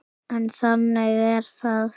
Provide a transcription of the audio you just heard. En þannig er það.